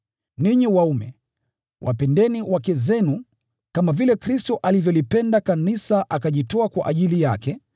Ninyi waume, wapendeni wake zenu, kama vile Kristo alivyolipenda Kanisa akajitoa kwa ajili yake